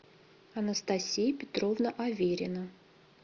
анастасия петровна аверина